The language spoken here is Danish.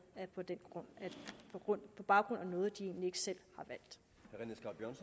på baggrund af noget de egentlig ikke selv